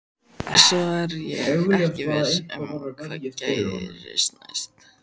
Svo er ég ekki viss um hvað gerist næst.